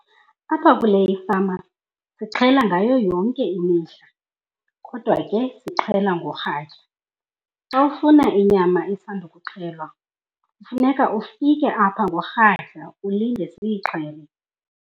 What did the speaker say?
Apha kule ifama sixhela ngayo yonke imihla kodwa ke sixhela ngorhatya. Xa ufuna inyama isandukuxhelwa funeka ufike apha ngorhatya ulinde siyixhele.